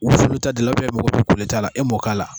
wusulita ta gilan ubiyɛn e magɔ be kolita la e m'o k'a la